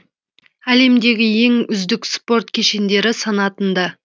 әлемдегі ең үздік спорт кешендері санатында